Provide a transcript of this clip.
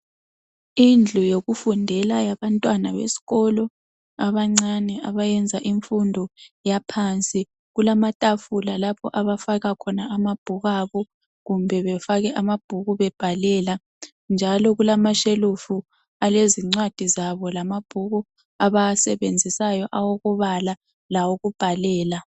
Indlu yokufundela yabantwana besikolo abancane abayenza imfundo yaphansi kulamatafula lapho abafaka khona amabhuku abo kumbe befake amabhuku bebhalela. Kulashelufu alezincwadi zabo lamabhuku abawasebenzisayo lawokubhalela